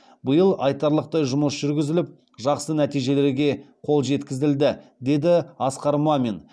биыл айтарлықтай жұмыс жүргізіліп жақсы нәтижелерге қол жеткізілді деді асқар мамин